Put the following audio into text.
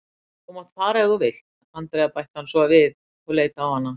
Þú mátt fara ef þú vilt, Andrea bætti hann svo við og leit á hana.